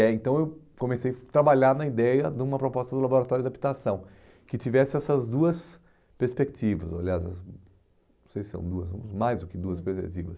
né então eu comecei a trabalhar na ideia de uma proposta do laboratório de habitação, que tivesse essas duas perspectivas, aliás, não sei se são duas, mais do que duas perspectivas.